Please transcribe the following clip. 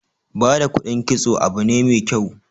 Ba da kudin kitso abu ne mai kyau.